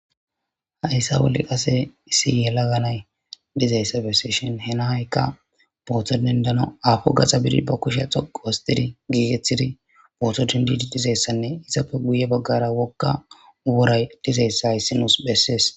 hayssa woli qase issi yela ganay dizayssa bessishin henahaykka booththodendano afo gaxa bidi ba kushe xoqu wostidi giigeththidi booto dindidi dizayssanne izapfe guye baggara wokka uworay dizeyssa issi nus bessees